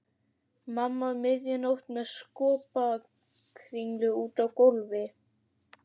Mamma um miðja nótt með skopparakringlu úti á gólfi.